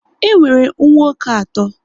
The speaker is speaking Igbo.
E nwere nwa oké atọ